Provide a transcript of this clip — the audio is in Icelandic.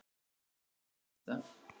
Ég er dálítið hissa.